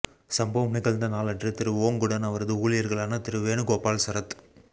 சம்பவம் நிகழ்ந்த நாளன்று திரு ஓங்குடன் அவரது ஊழியர்களான திரு வேணுகோபால் சரத்